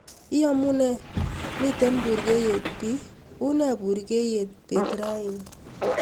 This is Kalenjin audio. iyomunee miten burgeiyet bii unee burgeiyet beer raani